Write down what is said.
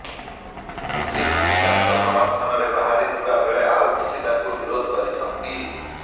କିଛି ଦୀପିକାଙ୍କ ସମର୍ଥନରେ ବାହାରିଥିବା ବେଳେ ଆଉ କିଛି ତାଙ୍କୁ ବିରୋଧ କରିଛନ୍ତି